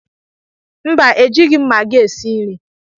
Mba, ejighi m magi esị nri.